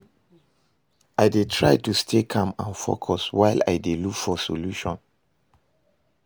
I dey try to stay calm and focus, while i dey look for solution.